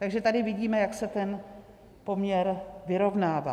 - Takže tady vidíme, jak se ten poměr vyrovnává.